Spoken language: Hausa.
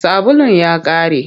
Sabulun ya ƙare.